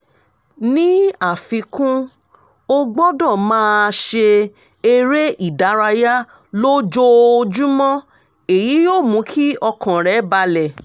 ní àfikún ó gbọ́dọ̀ máa ṣe eré ìdárayá lójoojúmọ́ èyí yóò mú kí ọkàn rẹ́ balẹ̀